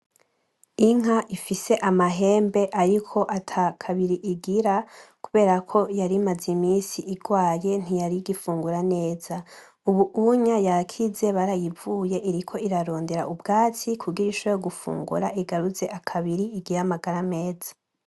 Inka ifise amahembe ariko ata kabiri igira kubera ko yarimaze imisi igwaye ntiyarigifungura neza, ubu unya yakize barayivuye iriko irarondera ubwatsi kugira ishobore gufungura igaruze akabiri igire amagara meza.